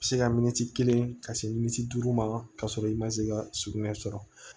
Se ka miniti kelen ka se militi duuru ma ka sɔrɔ i ma se ka sugunɛ sɔrɔ